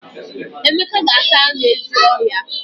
Emeka ga-ata anu ezi ohia.